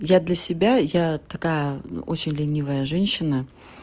я для себя я такая ну очень ленивая женщина